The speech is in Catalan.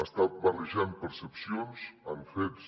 està barrejant percepcions amb fets